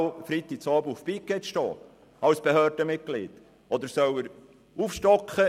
Ja, soll er denn als Behördenmitglied jeden Freitagabend auf Pikett sein?